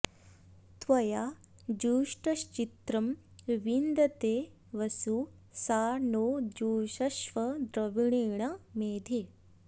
त्वया॒ जुष्ट॑श्चि॒त्रं वि॑न्दते॒ वसु॒ सा नो॑ जुषस्व॒ द्रवि॑णेन मेधे